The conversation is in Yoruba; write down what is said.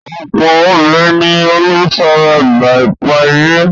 Ọ̀pọ̀ obìnrin ni olùfaragbá ipá-ilé.